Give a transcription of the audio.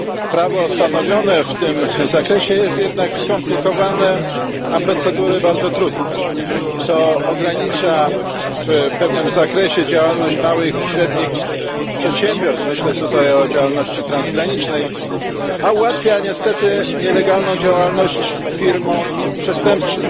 Prawo stanowione w tym zakresie jest jednak skomplikowane, a procedury bardzo trudne. Ogranicza to w pewnym zakresie działalność małych i średnich przedsiębiorstw myślę tutaj o działalności transgranicznej a ułatwia niestety nielegalną działalność firmom przestępczym.